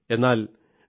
എന്നാൽ ഡി